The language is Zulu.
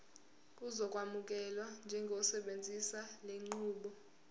uzokwamukelwa njengosebenzisa lenqubo